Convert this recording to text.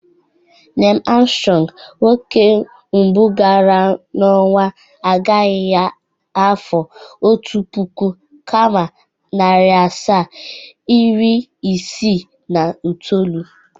Nel Armstrong, nwoke mbụ gara n' onwa, agaghi ya n'afọ Otu puku, nari asaa, iri isii na itoolu.